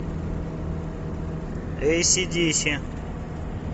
эй си ди си